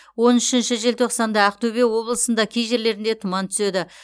он үшінші желтоқсанда ақтөбе облысында кей жерлерінде тұман түседі